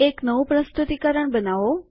એક નવું પ્રસ્તુતિકરણ બનાવો